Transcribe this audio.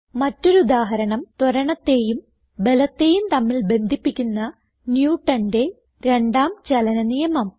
മറ്റൊരു ഉദാഹരണം160 ത്വരണത്തേയും ബലത്തേയും തമ്മിൽ ബന്ധിപ്പിക്കുന്ന Newtonന്റെ രണ്ടാം ചലന നിയമം